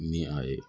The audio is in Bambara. Ni a ye